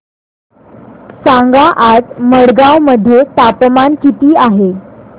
सांगा आज मडगाव मध्ये तापमान किती आहे